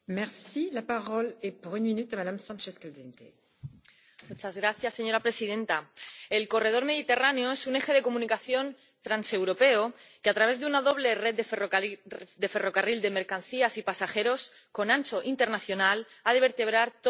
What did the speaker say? Señora presidenta, el corredor mediterráneo es un eje de comunicación transeuropeo que, a través de una doble red de ferrocarril de mercancías y pasajeros con ancho internacional, ha de vertebrar todo el arco mediterráneo, conectando ciudades como Valencia y Murcia con el resto de Europa.